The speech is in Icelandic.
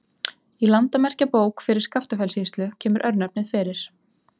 Í Landamerkjabók fyrir Skaftafellssýslu kemur örnefnið fyrir.